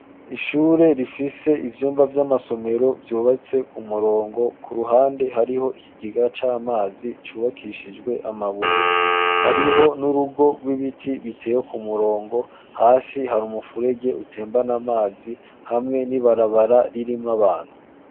Ishure rifise ibyumba vy'amasomero vyubatse ku murongo ku ruhande hariho iki giga c'amazi cubakishijwe amabuye hariho n'urugo rw'ibiti biteye ku murongo hasi hari umufurege utembana amazi hamwe n'ibarabara ririmwo abantu.